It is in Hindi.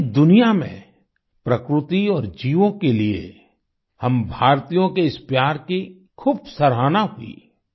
पूरी दुनिया में प्रकृति और जीवों के लिए हम भारतीयों के इस प्यार की खूब सराहना हुई